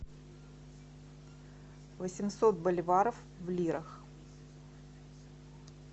восемьсот боливаров в лирах